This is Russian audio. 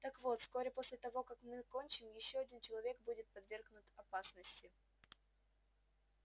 так вот вскоре после того как мы кончим ещё один человек будет подвергнут опасности